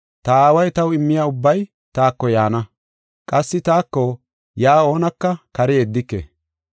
Ta Aaway taw immiya ubbay taako yaana; qassi taako yaa oonaka kare yeddike.